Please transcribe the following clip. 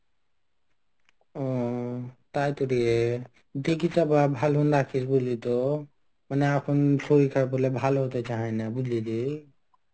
হম তাইতো রে দেখিস আবার ভালো বলি তো. মানে এখন শরীর খারাপ হলে ভালো হতে চায় না. বুঝলি রে?